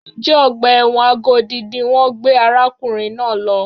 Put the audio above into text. Njẹ́ ọgbà ẹ̀wọ̀n Agodi ni wọ́n gbé arákùnrin náà lọ?